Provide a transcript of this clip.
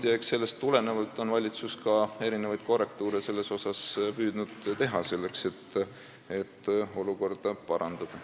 Eks sellest tulenevalt ole valitsus püüdnud ka korrektiive teha, selleks et olukorda parandada.